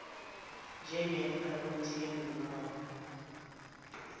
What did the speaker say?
njengefa lomthengi wawo